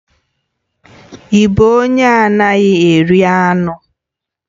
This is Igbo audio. Ị bụ onye anaghị eri anụ?